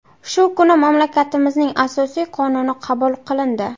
Shu kuni mamlakatimizning asosiy qonuni qabul qilindi.